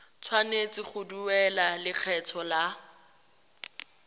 tshwanetse go duela lekgetho la